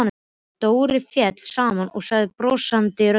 Dóri féll saman og sagði brostinni röddu: